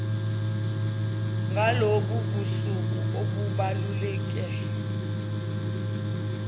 ngalobu busuku obubaluleke